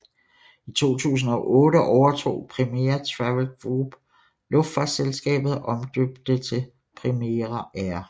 I 2008 overtog Primera Travel Group luftfartsselskabet og omdøbte det til Primera Air